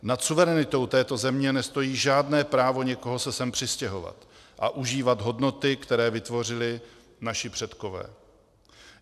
Nad suverenitou této země nestojí žádné právo někoho se sem přistěhovat a užívat hodnoty, které vytvořili naši předkové.